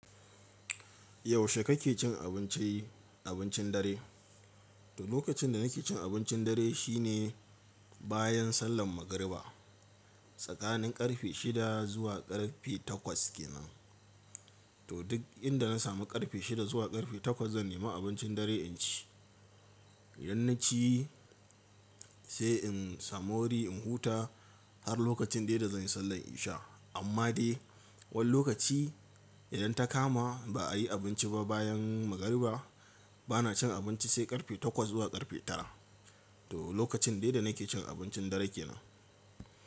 Yaushe kake cin abinci abincin dare? To lokacin da nake cin abincin dare shine bayan sallan magariba tsakanin karfe shida zuwa karfe takwas kenan. To duk inda na samu karfe shida zuwa karfe takwas zan nemi abincin dare in ci. Idan na ci sai in samu wuri in huta har lokacin dai da zanyi sallan isha. Amma dai wani lokaci idan ta kama ba'a yi abinci ba bayan magariba bana cin abinci sai karfe takwas zuwa karfe tara. To lokacin dai da nake cin abincin dare kenan.